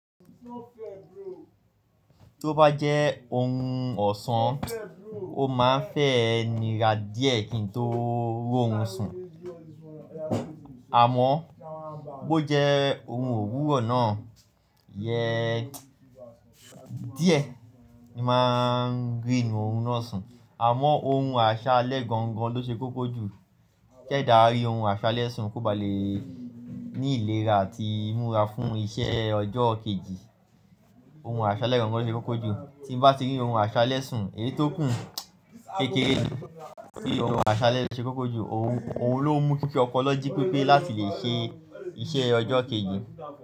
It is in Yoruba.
Tó bá jẹ́ ohun ọ̀sán, o máa ń fẹ́ nira díẹ̀ kí n tó ró'run sùn, àmọ́ bó jẹ́ ohun òwúrọ̀ náà, iyẹ díẹ̀, ni máa ń ri orun náà sun. Àmọ́ orun àṣálẹ́ gangan lo ṣe kókó jù, kí ẹdà ri orun àṣálẹ́ sùn kó ba lè ní ìlera àti ìmúra fún iṣẹ́ ọjọ́ kejì. Orun àṣálẹ́ gangan lo ṣe kókó jù, tí ń bá ti rí orun àṣálẹ́ sùn, èyí tó kùn kékeré ni. Bí orun àṣálẹ́ ṣe kókó jù, òun ló mú kí opolo ji pepé láti lè ṣe iṣẹ́ ọjọ́ kejì.